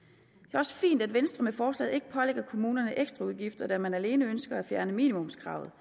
er også fint at venstre med forslaget ikke pålægger kommunerne ekstraudgifter da man alene ønsker at fjerne minimumskravet